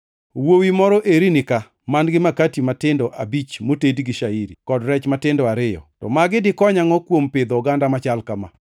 “Wuowi moro eri nika man-gi makati matindo abich motedi gi shairi, kod rech matindo ariyo, to magi dikony angʼo kuom pidho oganda machal kama?”